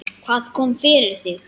Hvað kom fyrir þig?